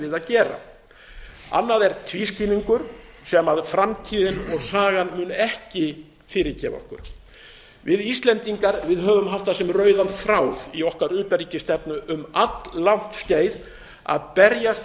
að gera annað er tvískinnungur sem framtíðin og sagan munu ekki fyrirgefa okkur við íslendingar höfum haft það sem rauðan þráð í okkar utanríkisstefnu um alllangt skeið að berjast